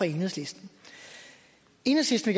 enhedslisten enhedslisten